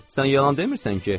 Sən yalan demirsən ki?